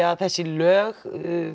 að þessi lög